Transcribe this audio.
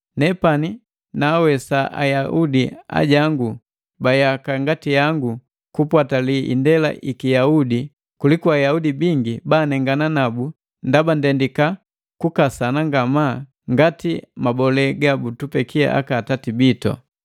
Nepani naawesa Ayaudi ajangu ba yaka ngati yangu kupwatali indela iki Yaudi kuliku Ayaudi bingi banengana nabu ndaba ndendika kukasana ngamaa ngati mabole gabutupeki aka atati bitu.